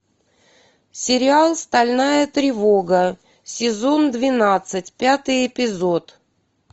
сериал стальная тревога сезон двенадцать пятый эпизод